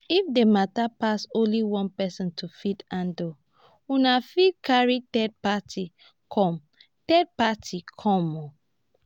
if di matter pass only one person to fit handle una fit carry third party come third party come